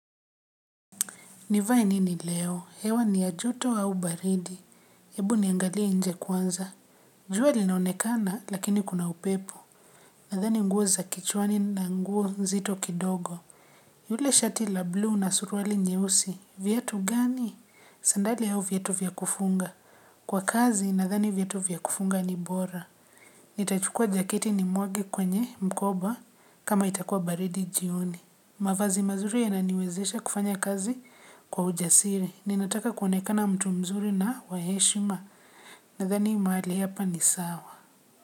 Nivae nini leo? Hewa ni ya joto au baridi. Hebu niangalie nje kwanza. Jua linaonekana lakini kuna upepo. Nadhani nguo za kichwani na nguo nzito kidogo. Yule shati la blue na suruali nyeusi. Viatu gani? Sandali au viatu vya kufunga? Kwa kazi nadhani viatu vya kufunga ni bora. Nitachukua jaketi nimwage kwenye mkoba kama itakuwa baridi jioni. Mavazi mazuri yananiwezesha kufanya kazi kwa ujasiri. Ninataka kuonekana mtu mzuri na wa heshima. Nadhani mahali hapa ni sawa.